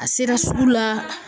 A sera sugu la